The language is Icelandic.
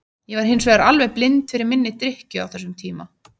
Ég var hins vegar alveg blind fyrir minni drykkju á þessum tíma.